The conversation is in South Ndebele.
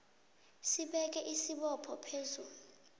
sibeka isibopho phezu